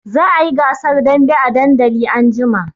Za a yi gasar dambe a dandali anjima.